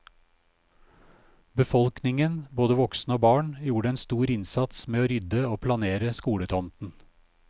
Befolkningen, både voksne og barn, gjorde en stor innsats med å rydde og planere skoletomten.